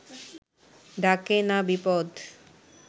ডাকে না বিপদ